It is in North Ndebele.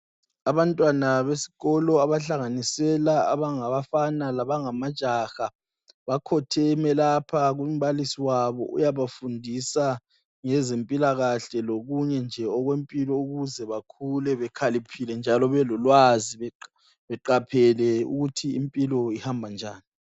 Abantwana besikolo abahlanganisela abangabafana labangamajaha bakhotheme lapha kumbalisi wabo uyabafundisa ngezempilakahle lokunye nje okwempilo ukuze bakhule bekhaliphile njalo belolwazi beqaphele ukuthi impilo ihamba njani.